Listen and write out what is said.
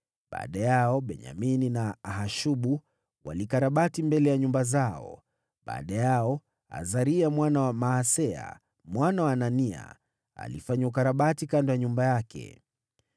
Baada yao Benyamini na Hashubu walikarabati mbele ya nyumba zao, na baada yao Azaria mwana wa Maaseya, mwana wa Anania alifanya ukarabati kando ya nyumba yake.